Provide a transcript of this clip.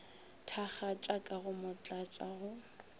thakgatša ka go motlatša go